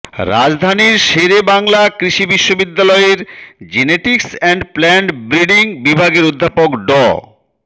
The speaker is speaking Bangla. রাজধানীর শেরে বাংলা কৃষি বিশ্ববিদ্যালয়ের জেনেটিক্স অ্যান্ড প্লান্ট ব্রিডিং বিভাগের অধ্যাপক ড